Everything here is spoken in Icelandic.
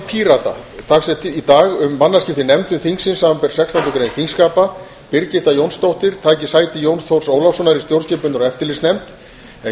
pírata dagsett í dag um mannaskipti í nefndum þingsins samanber sextándu grein þingskapa birgitta jónsdóttir taki sæti jóns þórs ólafssonar í stjórnskipunar og eftirlitsnefnd en